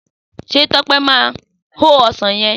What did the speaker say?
Sé Tope máa o ọsàn yen?